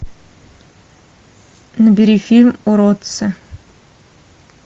набери фильм уродцы